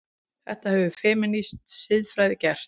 Þetta hefur femínísk siðfræði gert.